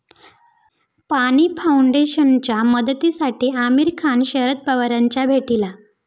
पाणी फाऊंडेशनच्या मदतीसाठी आमिर खान शरद पवारांच्या भेटीला